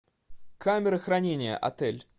камера хранения отель